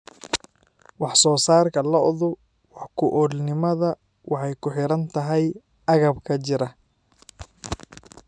Wax-soo-saarka lo'du wax-ku-oolnimada waxay ku xidhan tahay agabka jira.